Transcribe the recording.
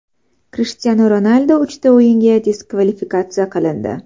Krishtianu Ronaldu uchta o‘yinga diskvalifikatsiya qilindi.